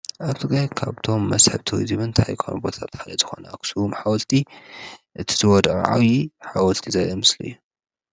ኣብቲ ጋያ ካብቶም መስሕብቶይ ዚበንታ ይኮኑ ቦታጥ ሓለ ዝኾነ ኣኹሱም ሓወትቲ ትዝወድርዓው ዪ ሓወትቲ ዘይአምስሊ እዩ።